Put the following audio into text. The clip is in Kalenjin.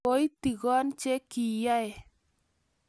Koitigon che kiyae